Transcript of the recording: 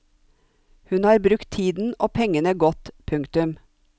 Hun har brukt tiden og pengene godt. punktum